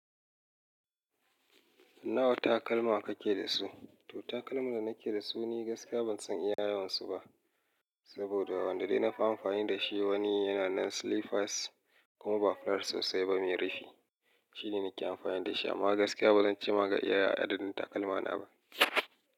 Nawa takalma kake da su? To, takalman da nake da su ni gaskiya ban san iya yawansu ba saboda wanda dai nafi amfani da shi wani yana nan slippers kuma ba flat sosai ba mai rufi. Shi ne nake amfani da shi amma gaskiya ba zan ci ma ga iya adadin takalmana ba.